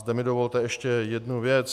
Zde mi dovolte ještě jednu věc.